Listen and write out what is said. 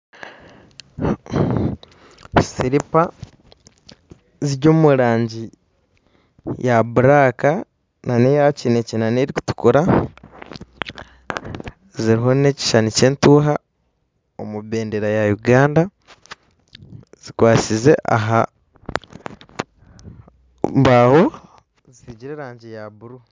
Siripa ziri omurangi ya buraka n'eyakinekye n'erukutukura ziriho n'ekishushani ky'entuuha omubendera ya Uganda zikwatsize ahambaho zisigire erangi ya buru